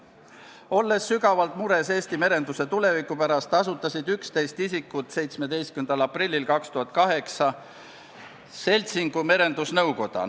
Olles sügavalt mures Eesti merenduse tuleviku pärast, asutasid 11 isikut 17. aprillil 2008 seltsingu Merendusnõukoda.